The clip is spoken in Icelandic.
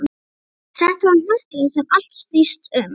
Þetta var hnötturinn sem allt snýst um.